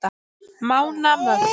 Mánamörk